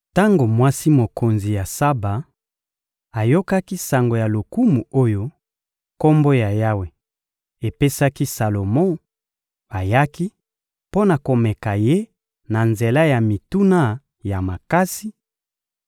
Tango mwasi mokonzi ya Saba ayokaki sango ya lokumu oyo Kombo ya Yawe epesaki Salomo, ayaki mpo na komeka ye na nzela ya mituna ya makasi;